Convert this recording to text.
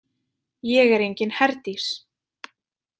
Ég er engin Herdís.